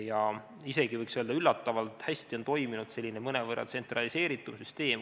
Ja isegi võiks öelda, et üllatavalt hästi on toiminud mõnevõrra tsentraliseeritud süsteem.